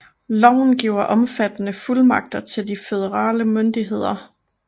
Loven giver omfattende fuldmagter til de føderale myndigheder